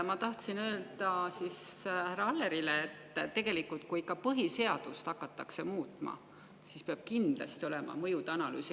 Ma tahtsin öelda härra Allerile, et kui ikka põhiseadust hakatakse muutma, siis peab tegelikult kindlasti olema mõjude analüüs.